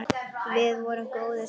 Við vorum góðir saman.